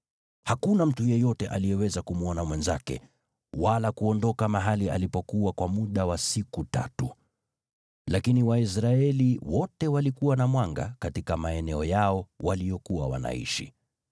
Hakuna mtu yeyote aliyeweza kumwona mwenzake, wala kuondoka mahali alipokuwa kwa muda wa siku tatu. Lakini Waisraeli wote walikuwa na mwanga katika maeneo yao waliyokuwa wanaishi.